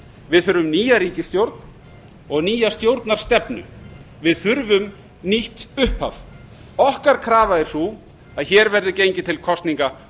við þurfum nýja ríkisstjórn og nýja stjórnarstefnu við þurfum nýtt upphaf okkar krafa er sú að hér verði gengið til kosninga